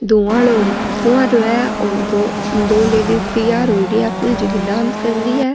धुवां आरो फ़ुवारो है और दो लेडीज़ तैयार होयडी है फूल झकी डांस कर रि है।